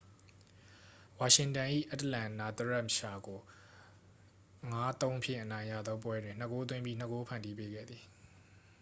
ဝါရှင်တန်၏ အတ္တလန်နာသရက်ရှာကို 5-3 ဖြင့် အနိုင်ရသော ပွဲတွင် 2 ဂိုးသွင်းပြီး 2 ဂိုး ဖန်တီးပေးခဲ့သည်